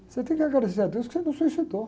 Você tem que agradecer a Deus que você não se suicidou.